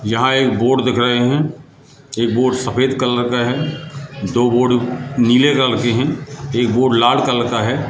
यहां एक बोर्ड दिख रहे हैं ये बोर्ड सफेद कलर का है दो बोर्ड नीले कलर के हैं एक बोर्ड लाल कलर का है।